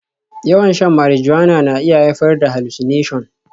Yawan shan marijuana na iya haifar da hallucination